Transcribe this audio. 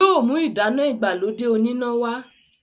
yóò mú ìdáná ìgbàlódé oníná wá.